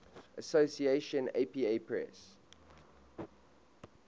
association apa press